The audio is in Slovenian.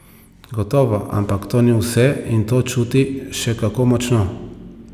Gotovo, ampak to ni vse in to čuti še kako močno.